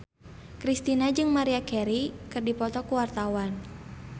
Kristina jeung Maria Carey keur dipoto ku wartawan